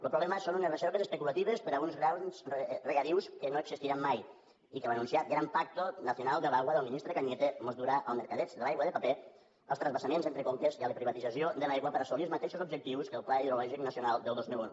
el problema són unes reserves especulatives per a uns grans regadius que no existiran mai i que l’anunciat gran pacto nacional del agua del ministre cañete mos durà al mercadeig de l’aigua de paper als transvasaments entre conques i a la privatització de l’aigua per assolir els mateixos objectius que el pla hidrològic nacional del dos mil un